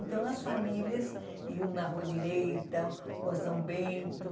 Então, as famílias iam na Rua Direita, Rua São Bento.